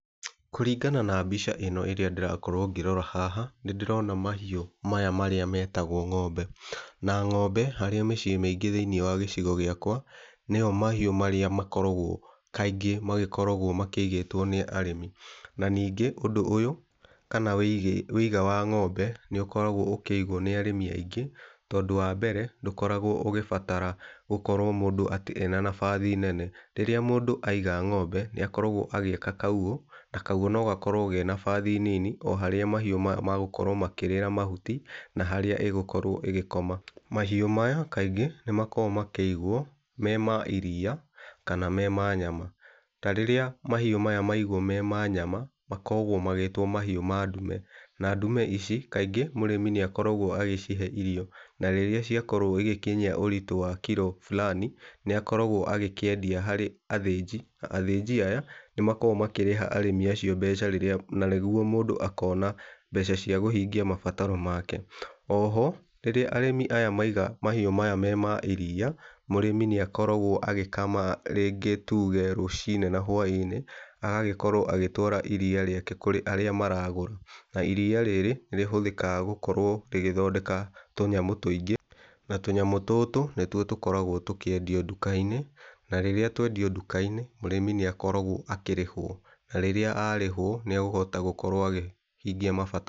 Kũringana na mbica ĩno ĩrĩa ndĩrakorwo ngĩrora haha, nĩndĩrona mahiũ maya marĩa metagwo ng'ombe, na ng'ombe harĩ mĩciĩ mĩingĩ thĩiniĩ wa gĩcigo gĩakwa nĩyo mahiũ marĩa makoragwo kaingĩ magĩkoragwo makĩigĩtwo nĩ arĩmi. Na ningĩ ũndũ ũyũ kana wĩiga wa ng'ombe nĩ ũkoragwo ũkĩigwo nĩ arĩmi aingĩ, tondũ wa mbere ndũkoragwo ũgĩbatara gũkorwo mũndũ atĩ ena nabathi nene. Rĩrĩa mũndũ aiga ng'ombe nĩakoragwo agĩaka kaugũ, na kaugũ nogakorwo kena nabathi nini o harĩa mahiũ magũkorwo makĩrĩra mahuti na harĩa ĩgĩkorwo ĩgĩkoma. Mahiũ maya kaingĩ nĩ makoragwo makĩigwo mema iria kana me ma nyama, tarĩrĩa mahĩũ maya maigwo marĩ ma nyama makogwo magĩtwo mahiũ ma ndume, na ndũme ici kaingĩ mũrĩmi nĩ akoragwo agĩcihe irio na rĩrĩa ciakorwo igĩkinyia ũritũ wa kiro fulani nĩakoragwo agĩkĩendia harĩ athĩnji. Athĩnji aya nĩmakoragwo makĩrĩha arĩmi acio mbeca rĩrĩa, na nĩguo mũndũ akona mbeca cia gũhingia mabataro make. O ho, rĩrĩa arĩmi aya maiga mahiũ maya me ma iria mũrĩmi nĩ akoragwo agĩkama rĩngĩ tũge rũcinĩ na hwa-inĩ, agagĩkorwo agĩtwara iria rĩake kũrĩ arĩa maragũra. Na iria rĩrĩ nĩ rĩhũthĩkaga gũkorwo rĩgĩthondeka tũnyamũ tũingĩ, na tũnyamũ tũtũ nĩtuo tũkoragwo tũkĩendio nduka-inĩ. Na rĩrĩa twendio nduka-inĩ mũrĩmi nĩ akoragwo akĩrĩhwo, na rĩrĩa arĩhwo, nĩagũkorwo akĩhota akĩhingia mabata...